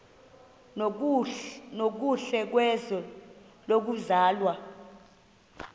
nokuhle kwizwe lokuzalwa